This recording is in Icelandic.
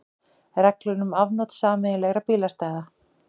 Reglur um afnot sameiginlegra bílastæða.